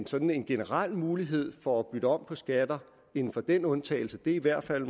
sådan en generel mulighed for at bytte om på skatter inden for den undtagelse er i hvert fald